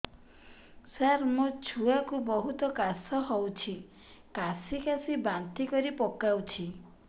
ସାର ମୋ ଛୁଆ କୁ ବହୁତ କାଶ ହଉଛି କାସି କାସି ବାନ୍ତି କରି ପକାଉଛି